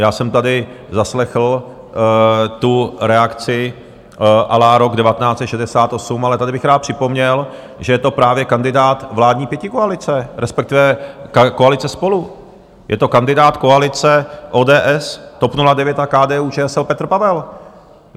Já jsem tady zaslechl tu reakci à la rok 1968, ale tady bych rád připomněl, že je to právě kandidát vládní pětikoalice, respektive koalice SPOLU, je to kandidát koalice ODS, TOP 09 a KDU-ČSL Petr Pavel.